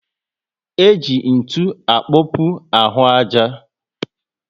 E ji ntụ akpokpu ahụ aja